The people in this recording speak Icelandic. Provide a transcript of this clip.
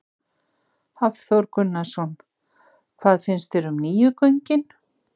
Hafþór Gunnarsson: Hvað finnst þér um nýju göngin?